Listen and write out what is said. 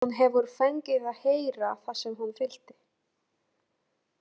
Hún hefur fengið að heyra það sem hún vildi.